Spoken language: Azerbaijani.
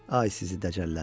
Ay sizi dəcəllər!